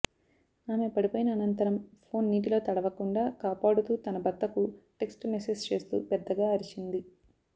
ఆమె పడిపోయిన అనంతరం ఫోన్ నీటిలో తడవకుండా కాపాడుతూ తన భర్తకు టెక్స్ట్ మెస్సేజ్ చేస్తూ పెద్దగా అరిచింది